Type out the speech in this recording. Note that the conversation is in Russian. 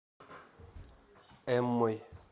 эммой